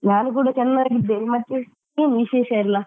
ನಾನು ಕೂಡ ಚೆನ್ನಾಗಿದ್ದೇನೆ ಮತ್ತೆ ಏನು ವಿಶೇಷ ಎಲ್ಲ?